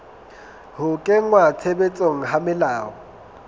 ho kenngwa tshebetsong ha melao